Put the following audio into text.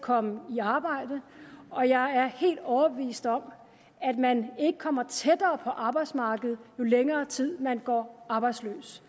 komme i arbejde og jeg er helt overbevist om at man ikke kommer tættere på arbejdsmarkedet jo længere tid man går arbejdsløs